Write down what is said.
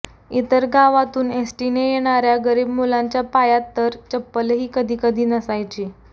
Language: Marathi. इतर गावातून एसटीने येणार्या गरीब मुलांच्या पायात तर चप्पलही कधीकधी नसायची